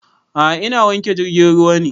A'a ina wanke jirgin ruwa ne